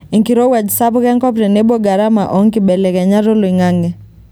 Enkirowuaj sapuk enkop tenebo garama oo nkibelekenyat oloing'ang'e.